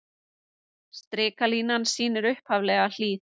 Strikalínan sýnir upphaflega hlíð.